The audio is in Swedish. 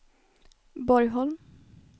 Borgholm